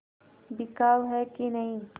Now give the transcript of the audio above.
बिकाऊ है कि नहीं